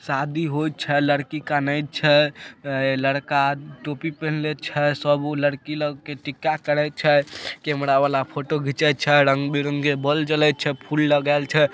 शादी हो छै लड़की काने छै लड़का टोपी पिहन्ला छै सब लड़की लोग के टीका करे छै कैमरा वाला फोटो घिंचे छै रंग-बिरंगे बोल जले छै फूल लगाल छै।